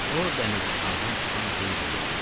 O dəmirçixanadan çıxan Heyriyə yaxınlaşdı.